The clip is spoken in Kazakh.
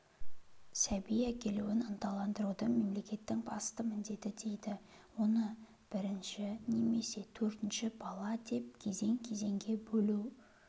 сәби әкелуін ынталандыруды мемлекеттің басты міндеті дейді оны бірінші немесе төртінші бала деп кезең-кезеңге бөлу